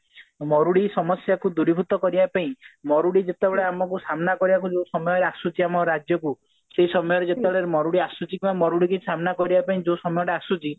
ମରୁଡି ସମସ୍ଯା କୁ ଦୂରୀଭୂତ କରିବା ପାଇଁ ମରୁଡି ଯେତେବେଳେ ଆମକୁ ସାମ୍ନା କରିବା ପାଇଁ ଯେତେବେଳେ ଆସୁଛି ଆମ ରାଜ୍ୟକୁ ସେଇ ସମୟରେ ଯେତେବେଳେ ମରୁଡି ଆସୁଛି କି ମରୁଡିକୁ ସାମ୍ନା କରିବା ପାଇଁ ଯୋଉ ସମୟଟା ଆସୁଛି